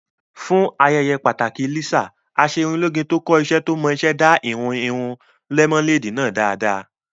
Fún ayẹyẹ pàtàkì Lisa, Aṣerunlóge tó kọ́ iṣẹ́ tó mọ iṣẹ́ dá ìhun irun lẹ́mọ́néèdì náà dáadáa